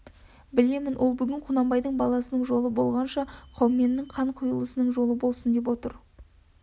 білемін ол бүгін құнанбай баласының жолы болғанша қауменнің қан құйылысының жолы болсын деп отыр